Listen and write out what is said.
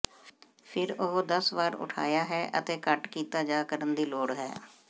ਫਿਰ ਉਹ ਦਸ ਵਾਰ ਉਠਾਇਆ ਹੈ ਅਤੇ ਘੱਟ ਕੀਤਾ ਜਾ ਕਰਨ ਦੀ ਲੋੜ ਹੈ